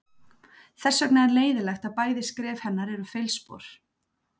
Þess vegna er leiðinlegt að bæði skref hennar eru feilspor.